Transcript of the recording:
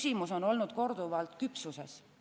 Mitu korda on küsitud ka küpsuse kohta.